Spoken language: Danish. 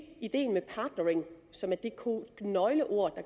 ideen med partnering som er det nøgleord